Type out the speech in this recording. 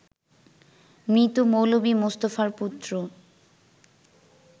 মৃত মৌলভী মোস্তফার পুত্র